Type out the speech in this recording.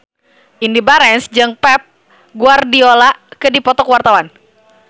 Indy Barens jeung Pep Guardiola keur dipoto ku wartawan